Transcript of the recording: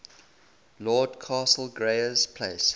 lord castlereagh's place